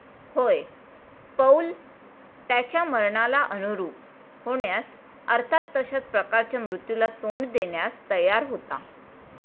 होय, पौल त्याच्या मरणाला अनुरूप होण्यास, अर्थात तशाच प्रकारच्या मृत्यूला तोंड देण्यास तयार होता.